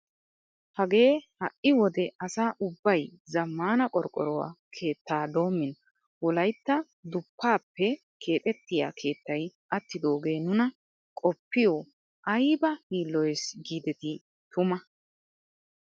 Hagee ha'i wode asa ubbay zammaana qorqqoruwaa keettaa doommin wolaytta duphphappe kexettiyaa keettay attidogee nuna qoppiyoo ayba yiilloyes gidetii tuma!